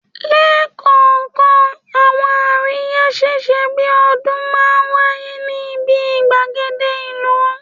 Lẹ́kọ̀ọ̀kan, àwọn àríyá ṣíṣe bí i ọdún máa ń wáyé ní ibi gbàgede ìlú